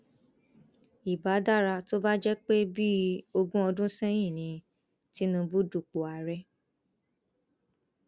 ìbá dára tó bá jẹ pé bíi ogún ọdún sẹyìn ni tìǹbù dupò ààrẹ